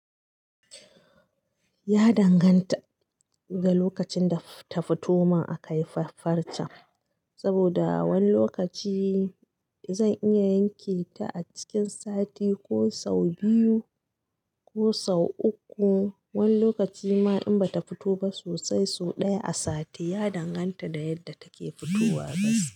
Ya danganta da lokacin da ta fito man a kaifafar ta, saboda wani lokaci zan iya yanke ta a cikin sati, ko sau biyu, ko sau uku. Wani lokaci ma in bata fito ba sosai, sau ɗaya a sati. Ya danganta da yadda take fitowa bas.